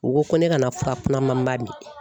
U ko ko ne kana fura kunamanba min.